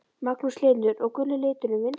Magnús Hlynur: Og guli liturinn vinsæll?